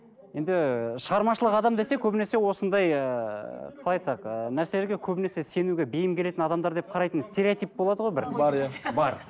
енді шығармашылық адам десек көбінесе осындай ыыы қалай айтсақ ыыы нәрселерге көбінесе сенуге бейім келетін адамдар деп қарайтын стереотип болады ғой бір бар иә бар